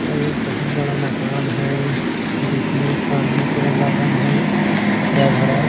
यह एक बहुत बड़ा मकान है जिसमें सामने पूरा सामने पूरा गार्डन है हरा भरा।